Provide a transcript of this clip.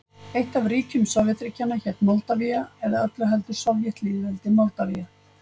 Eitt af ríkjum Sovétríkjanna hét Moldavía, eða öllu heldur Sovétlýðveldið Moldavía.